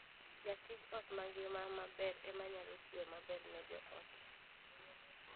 Jatij ot mangima maber ema nyalo tiyo maber ne joot.